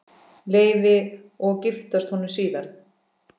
Leifi og giftast honum síðar.